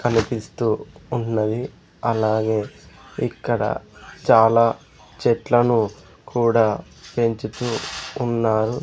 కనిపిస్తూ ఉన్నది అలాగే ఇక్కడ చాలా చెట్లను కూడా పెంచుతూ ఉన్నారు.